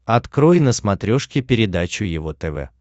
открой на смотрешке передачу его тв